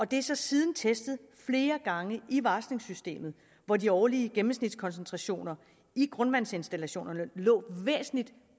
det er så siden testet flere gange i varslingssystemet hvor de årlige gennemsnitskoncentrationer i grundvandsinstallationerne lå væsentligt